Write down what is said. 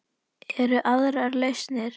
Eru aðrar lausnir?